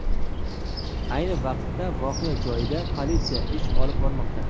Ayni vaqtda voqea joyida politsiya ish olib bormoqda.